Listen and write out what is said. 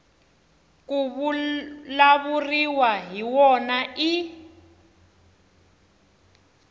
ku vulavuriwaka hi wona i